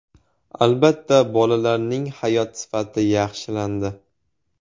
Albatta, bolalarning hayot sifati yaxshilandi.